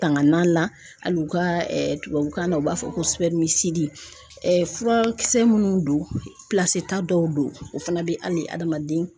Tanganan la hali u ka tubabukan na u b'a fɔ ko furakisɛ minnu don ta dɔw fana bɛ hali adamaden.